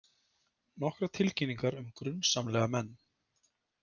Nokkrar tilkynningar um grunsamlega menn